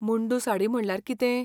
मुंडू साडी म्हणल्यार कितें?